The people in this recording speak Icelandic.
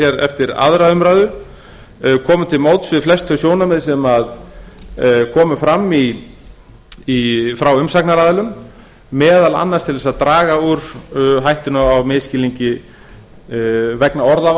hér eftir önnur umræða komið til móts við flest þau sjónarmið sem komu fram frá umsagnaraðilum meðal annars til þess að draga úr hættunni á misskilningi vegna